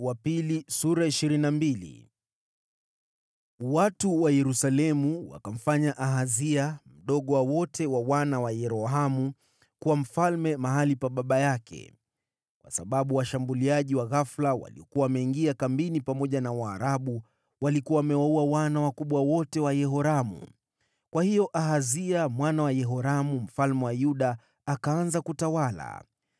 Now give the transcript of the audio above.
Watu wa Yerusalemu wakamfanya Ahazia, mdogo wa wote wa wana wa Yerohamu, kuwa mfalme mahali pa baba yake, kwa sababu washambuliaji wa ghafula waliokuwa wameingia kambini pamoja na Waarabu, walikuwa wamewaua wana wakubwa wote wa Yehoramu. Kwa hiyo Ahazia mwana wa Yehoramu mfalme wa Yuda akaanza kutawala.